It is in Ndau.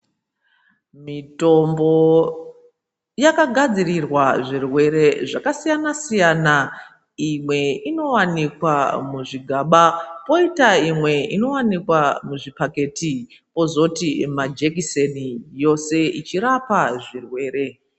Mitombo yakagadzirirwa zvirwere zvakasiyana siyana imwe inowanikwa muzvigaba poita imwe inowanikwa muzvipakiti kozoti majekiseni yose ichirapa zvirwere.